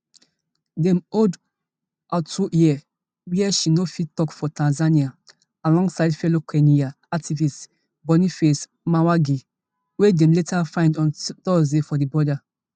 dem hold atuhaire wia she no fit tok for tanzania alongside fellow kenyan activist boniface mwangi wey dem later find on thursday for di border